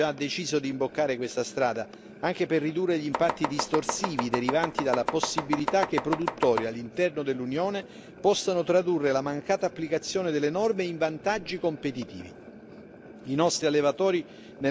Come commissione agricoltura, abbiamo già deciso di imboccare questa strada, anche per ridurre gli impatti distorsivi derivanti dalla possibilità che i produttori all'interno dell'Unione possano tradurre la mancata applicazione delle norme in vantaggi competitivi.